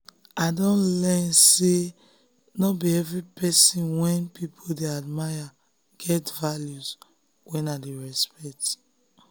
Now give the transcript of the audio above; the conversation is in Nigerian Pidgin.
i don learn say no be every person wey people dey admire get values wey i dey respect.